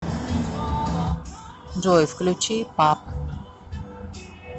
джой включи пап